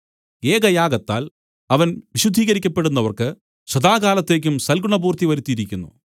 ഏകയാഗത്താൽ അവൻ വിശുദ്ധീകരിക്കപ്പെടുന്നവർക്ക് സദാകാലത്തേക്കും സൽഗുണപൂർത്തി വരുത്തിയിരിക്കുന്നു